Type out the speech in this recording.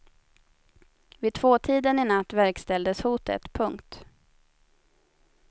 Vid tvåtiden i natt verkställdes hotet. punkt